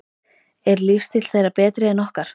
Er lífstíll þeirra betri en okkar?